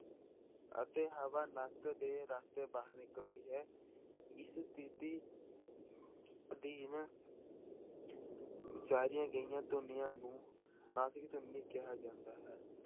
ਅਤੇ ਹਵਾ ਨੱਕ ਦੇ ਰਸਤੇ ਬਾਹਰ ਨਿਕਲਦੀ ਹੈ ਇਸ ਸਥਿੱਤੀ ਅਧੀਨ ਉਚਾਰੀਆਂ ਗਈਆਂ ਧੁਨੀਆਂ ਨੂੰ ਨਾਸਿਕ ਧੁਨੀ ਕਿਹਾ ਜਾਂਦਾ ਹੈ।